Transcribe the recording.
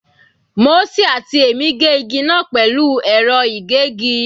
Mósè àti èmi gé igi náà pẹ̀lú ẹ̀rọ ìgégi.